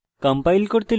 compile করতে লিখুন